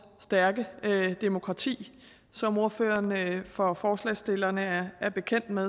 stærke demokrati som ordføreren for forslagsstillerne er bekendt med